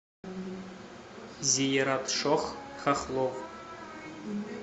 зиератшох хохлов